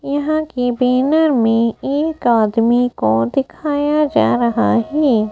यहां के बैनर में एक आदमी को दिखाया जा रहा है।